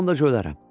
O anda cölərəm.